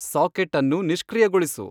socket ಅನ್ನು ನಿಷ್ಕ್ರಿಯಗೊಳಿಸು